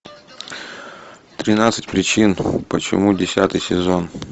тринадцать причин почему десятый сезон